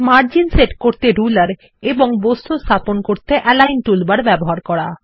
margin set করার জন্য ruler এবং বস্তুগুলি স্থাপন করতে অ্যালিগন বা বিন্যাস টুলবার ব্যবহার করা